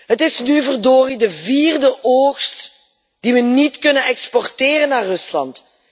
Het is nu verdorie de vierde oogst die we niet kunnen exporteren naar Rusland.